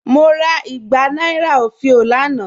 Mo rà ìgbà nàìrà ofìó lánà.